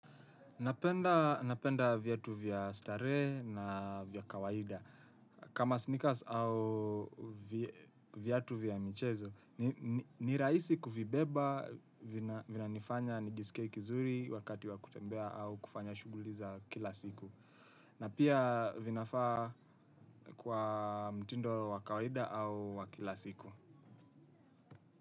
Napenda viatu vya starehe na vya kawaida. Kama sneakers au viatu vya michezo ni rahisi kuvibeba vinanifanya nijiskie vizuri wakati wa kutembea au kufanya shughuli za kila siku. Na pia vinafaa kwa mtindo wakawaida au wa kila siku.